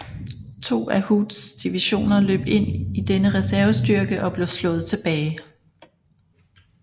To af Hoods divisioner løb ind i denne reservestyrke og blev slået tilbage